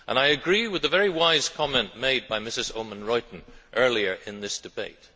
I agree with the very wise comment made by Mrs Oomen Ruijten earlier in this debate.